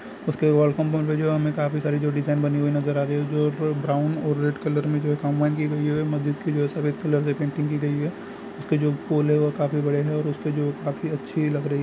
उसके वॉलपेपर में जो हमे काफी सारी जो डिजाइन बनी हुई नजर आ रही है जो ब्राउन और रेड कलर में जो काम की गयी है मस्जिद की जो है सफेद कलर से पेंटिंग की गयी है उसके जो फूल है वह काफी बड़े हैं और काफी अच्छी लग रही है हैं।